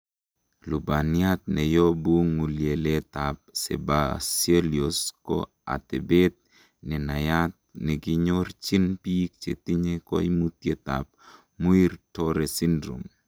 Lubaniat neyobu ng'ulieletab Sebaceous ko atebet nenayat nekinyorchin biik chetinye koimutietab Muir Torre syndrome .